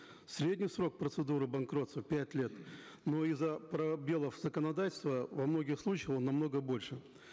средний срок процедуры банкротства пять лет но из за пробелов в законодательстве во многих случаях он намного больше